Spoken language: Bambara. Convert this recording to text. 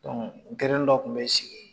dɔ kun be sigi